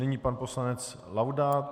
Nyní pan poslanec Laudát.